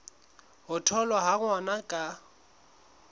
ho tholwa ha ngwana ka